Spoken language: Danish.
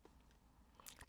DR K